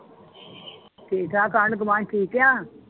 ਠੀਕ ਠਾਕ, ਆਂਢ ਗੁਆਂਢ ਠੀਕ ਆ?